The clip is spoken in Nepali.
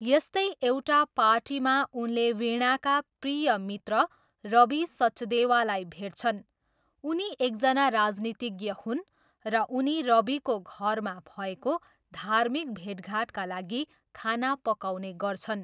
यस्तै एउटा पार्टीमा उनले वीणाका प्रिय मित्र रबी सचदेवालाई भेट्छन्, उनी एकजना राजनीतिज्ञ हुन् र उनी रबीको घरमा भएको धार्मिक भेटघाटका लागि खाना पकाउने गर्छन्।